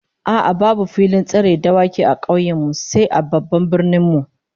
A'a, babu filin tseren dawaki a kauyen mu sai a babban birnin mu